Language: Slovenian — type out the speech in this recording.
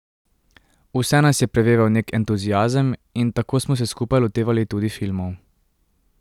Vse nas je preveval neki entuziazem in tako smo se skupaj lotevali tudi filmov.